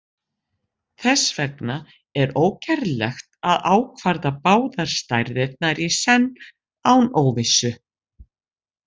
Þess vegna er ógerlegt að ákvarða báðar stærðirnar í senn án óvissu.